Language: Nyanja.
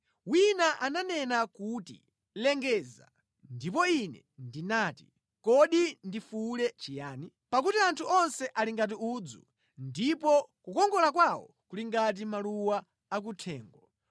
Wina ananena kuti, “Lengeza.” Ndipo ine ndinati, “Kodi ndifuwule chiyani? “Pakuti anthu onse ali ngati udzu ndipo kukongola kwawo kuli ngati maluwa akuthengo.